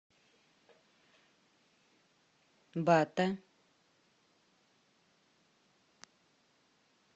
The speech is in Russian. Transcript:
бата